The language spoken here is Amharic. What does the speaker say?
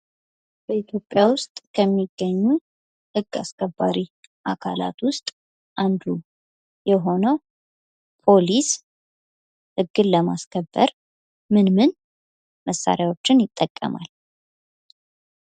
በኢትዮጵይስ ውስጥ ከሚገኙ ህግ አስከባሪ አካላት ውስጥ አንዱ የሆነው ፖሊስ ህግን ለማስከበር ምን ምን መሣሪያዎችን ይጠቀማል?